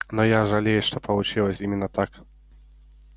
но я жалею что получилось именно так